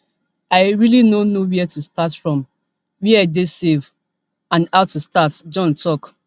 i really no know wia to start from wia dey safe and how to start john tok